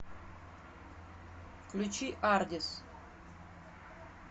включи ардис